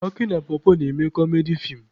Aki na pọpọ na-eme kọmedi feem.